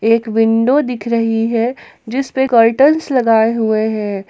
एक विंडो दिख रही है जिस पे कर्टेन्स लगाए हुए हैं।